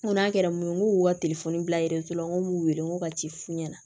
N ko n'a kɛra mun ye n k'o ka telefɔni bilalen so la n ko m'u wele n ko ka ci f'u ɲɛna